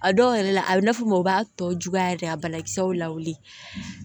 A dɔw yɛrɛ la a bɛ na fɔ mɔgɔ b'a tɔ juguya yɛrɛ a banakisɛw la wuli